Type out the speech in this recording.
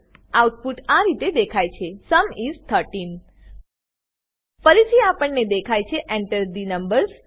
output આ રીતે દેખાય છે સુમ ઇસ 13 ફરીથી આપણને દેખાય છે Enter થે નંબર્સ